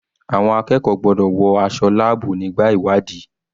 Àwọn akẹ́kọ̀ọ́ gbọ́dọ̀ wọ aṣọ láàbù nígbà ìwádìí.